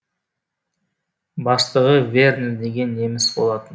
бастығы вернер деген неміс болатын